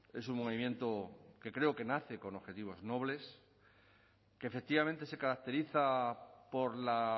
es un movimiento que creo que nace con objetivos nobles que efectivamente se caracteriza por la